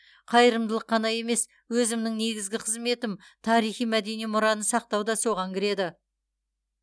қайырымдылық қана емес өзімнің негізгі қызметім тарихи мәдени мұраны сақтау да соған кіреді